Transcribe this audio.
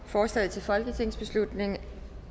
forslaget til folketingsbeslutning